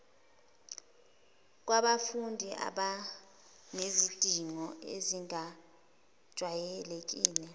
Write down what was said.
kwabafundi abanezidingo ezingajwayelekile